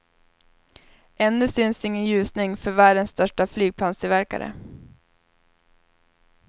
Ännu syns ingen ljusning för världens största flygplanstillverkare.